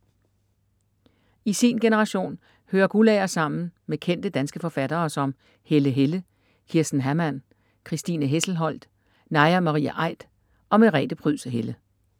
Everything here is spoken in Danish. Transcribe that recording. I sin generation hører Guldager sammen kendte, danske forfattere som Helle Helle, Kirsten Hamman, Christine Hesselholdt, Naja Marie Aidt og Merete Pryds Helle.